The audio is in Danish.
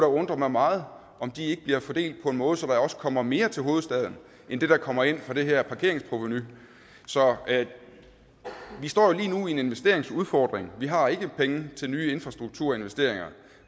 undre mig meget om de ikke bliver fordelt på en måde så der også kommer mere til hovedstaden end det der kommer ind fra det her parkeringsprovenu så vi står jo lige nu med en investeringsudfordring vi har ikke penge til nye infrastrukturinvesteringer